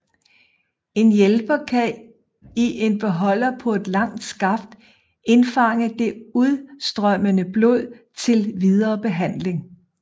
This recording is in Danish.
En hjælper kan i en beholder på et langt skaft indfange det udstrømmende blod til videre behandling